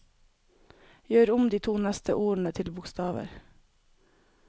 Gjør om de to neste ordene til store bokstaver